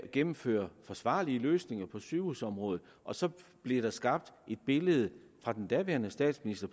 gennemføre forsvarlige løsninger på sygehusområdet og så blev der skabt et billede af den daværende statsminister